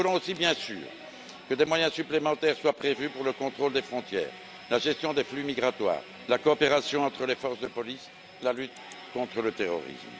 Nous voulons aussi, bien sûr, que des moyens supplémentaires soient prévus pour le contrôle des frontières, la gestion des flux migratoires, la coopération entre les forces de police et la lutte contre le terrorisme.